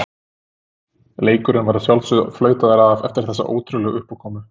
Leikurinn var að sjálfsögðu flautaður af eftir þessa ótrúlegu uppákomu.